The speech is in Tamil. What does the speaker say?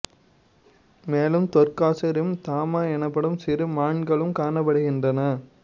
மேலும் தோர்க்காசு ரிம் தாமா எனப்படும் சிறு மான்களும் காணப்படுகின்றன